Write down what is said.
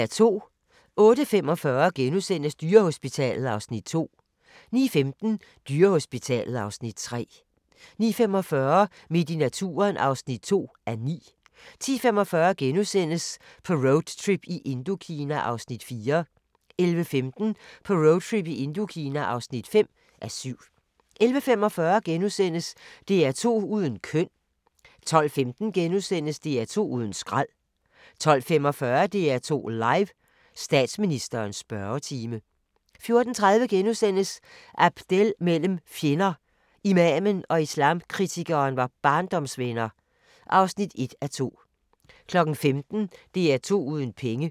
08:45: Dyrehospitalet (Afs. 2)* 09:15: Dyrehospitalet (Afs. 3) 09:45: Midt i naturen (2:9) 10:45: På roadtrip i Indokina (4:7)* 11:15: På roadtrip i Indokina (5:7) 11:45: DR2 uden køn * 12:15: DR2 uden skrald * 12:45: DR2 Live: Statsministerens spørgetime 14:30: Abdel mellem fjender: Imamen og islamkritikeren var barndomsvenner (1:2)* 15:00: DR2 uden penge